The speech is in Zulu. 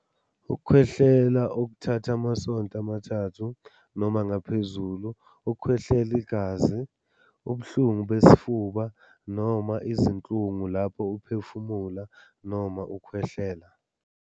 Ukukhwehlela okuthatha amasonto amathathu noma ngaphezulu. Ukukhwehlela igazi. Ubuhlungu besifuba, noma izinhlungu lapho uphefumula noma ukhwehlela.